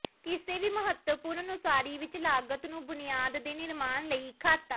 ਕਿਸੇ ਵੀ ਮਹੱਤਵਪੂਰਨ ਉਸਾਰੀ ਵਿੱਚ ਲਾਗਤ ਨੂੰ ਬੁਨਿਆਦ ਦੇ ਨਿਰਮਾਣ ਲਈ ਖਾਤਾ